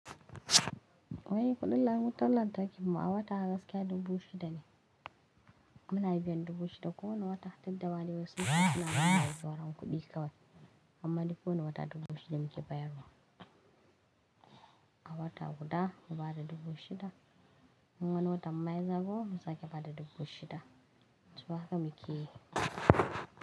Wai kudin lan wutan lantarki mu a wata gaskiya dubu shida ne. Muna biyan dubu shida ko wani wata tunda ma dai wai sun ce suna bin mu wai sauran kuɗi kawai. Amma dai ko wani wata dubu shida muke bayarwa. A wata guda mu bada dubu shida. Unwani watan ma zagayo mu sake bada dubu shida. So haka muke yi.